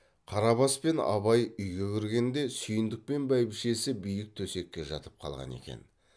қарабас пен абай үйге кіргенде сүйіндік пен бәйбішесі биік төсекке жатып қалған екен